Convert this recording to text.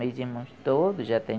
Meus irmãos todos já têm